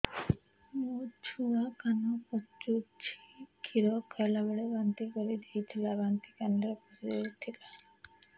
ମୋ ଛୁଆ କାନ ପଚୁଛି କ୍ଷୀର ଖାଇଲାବେଳେ ବାନ୍ତି କରି ଦେଇଥିଲା ବାନ୍ତି କାନରେ ପଶିଯାଇ ଥିଲା